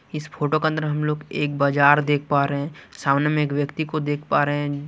इस फोटो का अंदर हम लोग एक बाजार देख पा रे हैं सामने में एक व्यक्ति को देख पा रे हैं।